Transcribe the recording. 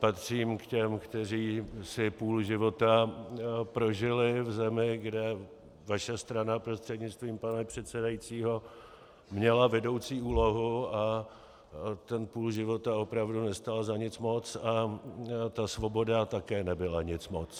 Patřím k těm, kteří si půl života prožili v zemi, kde vaše strana, prostřednictvím pana předsedajícího, měla vedoucí úlohu, a ten půl života opravdu nestál za nic moc a ta svoboda také nebyla nic moc.